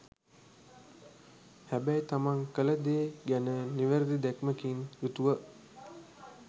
හැබැයි තමන් කල දේ ගැන නිවැරදි දැක්මකින් යුතුව.